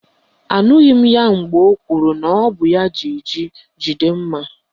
Anụghị m mgbe o kwuru na ọ bụ ya jì jí jide mma